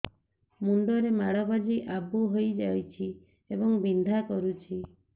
ମୁଣ୍ଡ ରେ ମାଡ ବାଜି ଆବୁ ହଇଯାଇଛି ଏବଂ ବିନ୍ଧା କରୁଛି